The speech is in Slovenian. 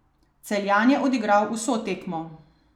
Celjan je odigral vso tekmo.